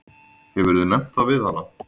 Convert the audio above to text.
Hefurðu nefnt það við hana?